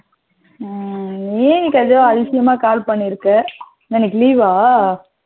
ம் ஏ இன்னைக்கு எதோ ஆதிசியாம call பண்ணிருக்கா? இன்னைக்கு leave வா?